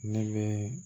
Ne bɛ